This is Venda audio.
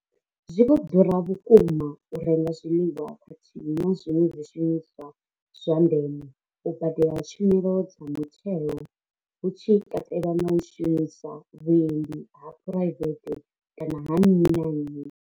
Zwi vho ḓura vhukuma u renga zwiḽiwa khathihi na zwiṅwe zwishumiswa zwa ndeme, u badela tshumelo dza mutheo hu tshi katelwa na u shumisa vhuendi ha phuraivethe kana ha nnyi na nnyi.